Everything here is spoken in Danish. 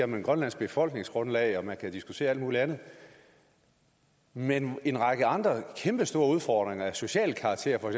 med grønlands befolkningsgrundlag og man kan diskutere alt muligt andet men en række andre kæmpestore udfordringer af social karakter for